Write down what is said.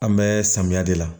An bɛ samiya de la